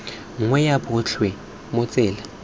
nngwe ya botlhe mo tsela